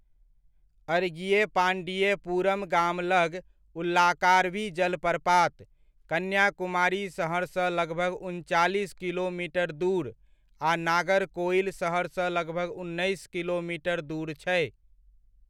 अड़गियपांडियपुरम गाम लग उल्लाकार्वी जलप्रपात, कन्याकुमारी सहरसँ लगभग उनचालीस किलोमीटर दूर आ नागरकोइल शहरसँ लगभग उन्नैस किलोमीटर दूर छै।